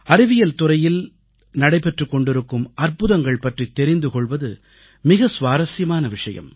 அறிவியல் துறையில் நடைபெற்றுக் கொண்டிருக்கும் அற்புதங்கள் பற்றித் தெரிந்து கொள்வது மிக சுவாரசியமான விஷயம்